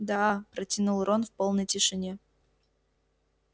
да протянул рон в полной тишине